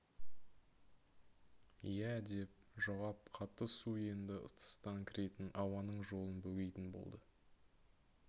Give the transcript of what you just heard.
иә деп жауап қатты су енді тыстан кіретін ауаның жолын бөгейтін болды